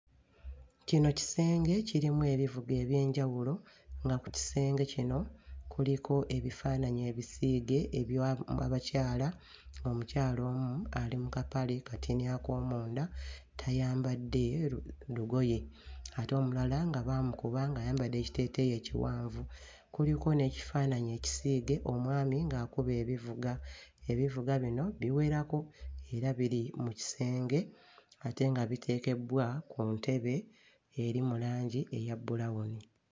Kino kisenge ekirimu ebivuga eby'enjawulo nga ku kisenge kino kuliko ebifaananyi ebisiige ebya mu abakyala. Omukyala omu ali mu kapale katini ak'omunda tayambadde lu lugoye ate omulala baamukuba ng'ayambadde ekiteeteeyi ekiwanvu. Kuliko n'ekifaananyi ekisiige omwami ng'akuba ebivuga. Ebivuga bino biwerako era biri mu kisenge ate nga biteekebbwa ku ntebe eri mu langi eya bbulawuni.